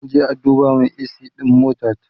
zan Kai a duba min a.c ɗin motata